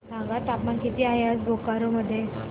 सांगा तापमान किती आहे आज बोकारो मध्ये